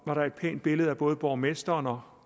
var der et pænt billede af både borgmesteren og